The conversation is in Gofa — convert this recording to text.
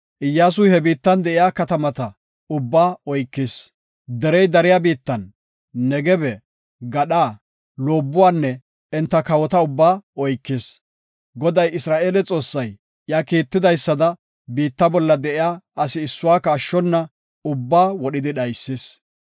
Iyyasuy he biittan de7iya katamata ubbaa oykis. Derey dariya biittan, Negebe gadhan, loobuwanne enta kawota ubbaa oykis. Goday Isra7eele Xoossay iya kiitidaysada, biitta bolla de7iya asi issuwaka ashshona ubbaa wodhidi dhaysis.